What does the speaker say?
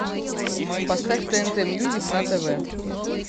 поставь тнт мьюзик на тв